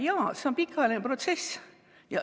Jaa, see on pikaajaline protsess.